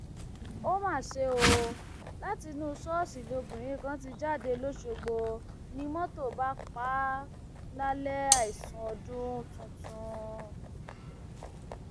ó mà ṣe o látinú ṣọọṣì lobìnrin kan ti jáde lọsọgbọ ni mọtò bá pa á lálẹ àìsùn ọdún tuntun